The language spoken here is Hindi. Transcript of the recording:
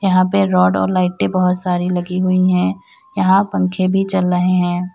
यहां पे रोड और लाइटे बहुत सारी लगी हुई है यहां पंखे भी चल रहे है।